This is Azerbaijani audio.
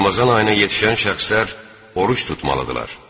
Ramazan ayına yetişən şəxslər oruc tutmalıdırlar.